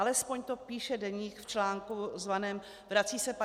Alespoň to píše Deník v článku zvaném "Vrací se 50. léta?